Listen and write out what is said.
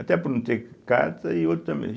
Até por não ter carta e outro também.